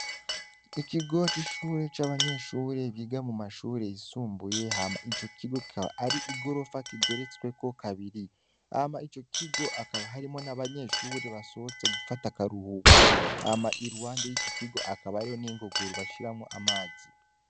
Ikigoc'ishure c'abanyeshure biga mu mashure yisumbuye hama ico kigo kabar’igorofa kigeretsweko kabiri hama ico kigo akaba harimo n'abanyeshuri basohotse gufata akaruhuko ama i rwanda y'ico kigo akaba ariho n'ingoguru bashiramwo amazi.